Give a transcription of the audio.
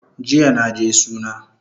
Jiya naje suna